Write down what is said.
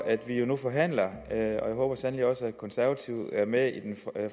at vi jo nu forhandler og jeg håber sandelig også at de konservative er med i den